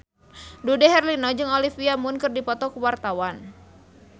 Dude Herlino jeung Olivia Munn keur dipoto ku wartawan